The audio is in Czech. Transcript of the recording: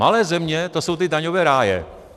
Malé země, to jsou ty daňové ráje.